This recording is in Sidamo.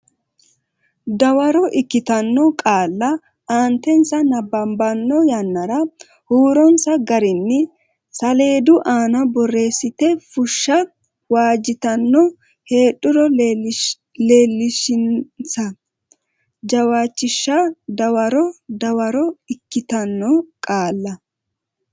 Dawaro ikkitanno qaalla aantensa Nabbabbanno yannara huuronsa garinni saleedu aana borreessite fushsha waajjitanno heedhuro leellishinsa jawaachishinsa Dawaro Dawaro ikkitanno qaalla.